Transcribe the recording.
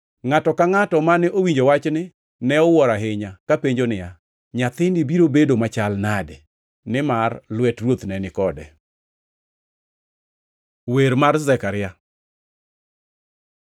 Ngʼato ka ngʼato mane owinjo wachni ne owuoro ahinya, kapenjo niya, “Nyathini biro bedo machal nade?” Nimar lwet Ruoth ne ni kode. Wer mar Zekaria